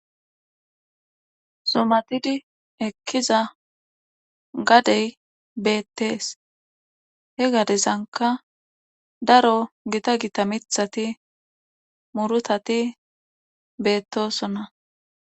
zumatidi ekkiza gade beetees. he gadezankka daro gitta gitta miththati murutati beetosona.